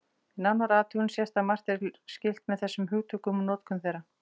Við nánari athugun sést að margt er skylt með þessum hugtökum og notkun þeirra.